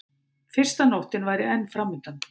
Fyrsta nóttin væri enn framundan.